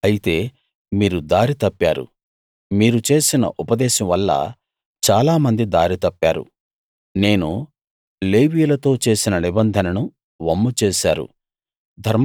అయితే మీరు దారి తప్పారు మీరు చేసిన ఉపదేశం వల్ల చాలా మంది దారి తప్పారు నేను లేవీయులతో చేసిన నిబంధనను వమ్ము చేశారు